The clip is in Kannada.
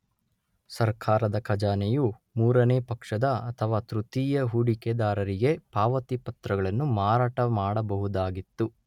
ಸರ್ಕಾರದ ಖಜಾನೆಯು ಮೂರನೇ ಪಕ್ಷದ ಅಥವಾ ತೃತೀಯ ಹೂಡಿಕೆದಾರರಿಗೆ ಪಾವತಿ ಪತ್ರಗಳನ್ನು ಮಾರಾಟಮಾಡಬಹುದಾಗಿತ್ತು.